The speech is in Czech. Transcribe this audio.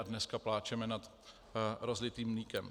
A dneska pláčeme nad rozlitým mlékem.